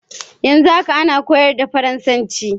Yanzu haka ana koyar da faransanci